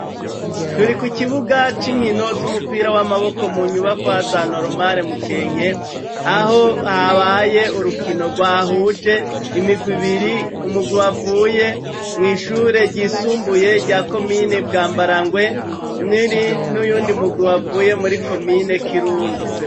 Turi ku ikibuga c'inkino z'umupira w'amaboko mu nyubakoazanaorumare mukenke aho habaye urukino rwa huje imigwa ibiri umugubu avuye mw'ishure ryisumbuye rya komine bwa mbara ngwe niri n'uyundi mugubu avuye muri komine kirundo.